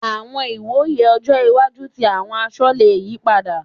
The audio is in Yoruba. Àwọn ìwòye ọjọ́ iwájú tí àwọn aṣọ le yí padà.